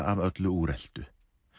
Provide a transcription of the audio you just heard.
af öllu úreltu